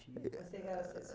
Você